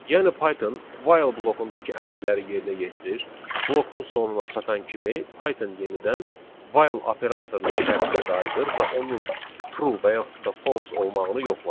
Yəni Python while blokundakı əmrləri yerinə yetirir, blokun sonuna çatan kimi Python yenidən while operatorunun şərtinə qayıdır və onun true və yaxud da false olmağını yoxlayır.